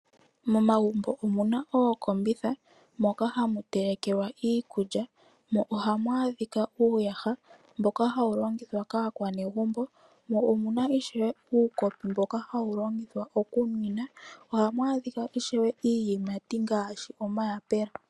Momagumbo omu na ookombitha moka hamu telekelwa iikulya mo ohamu adhika uuyaha mboka hawu longithwa kaakwanegumbo mo omu na ishewe uukopi mboka hawu longithwa okuninwa, ohamu adhika ishewe iiyimati ngaashi omayapula.